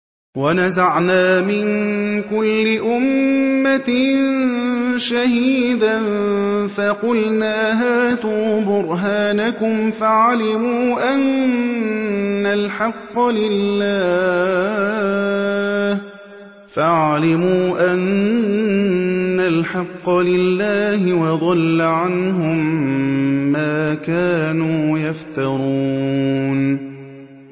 وَنَزَعْنَا مِن كُلِّ أُمَّةٍ شَهِيدًا فَقُلْنَا هَاتُوا بُرْهَانَكُمْ فَعَلِمُوا أَنَّ الْحَقَّ لِلَّهِ وَضَلَّ عَنْهُم مَّا كَانُوا يَفْتَرُونَ